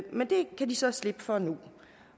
men det kan de så slippe for nu